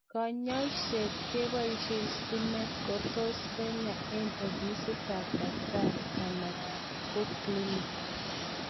kanyaishet kebaishe stimet kotus kenya eng ofisit ap daktari ana koclink